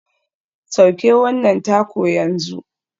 Sauke wannan taco yanzu.